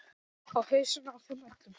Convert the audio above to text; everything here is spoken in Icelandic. Í hausana á þeim öllum.